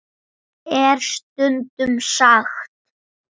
. er stundum sagt.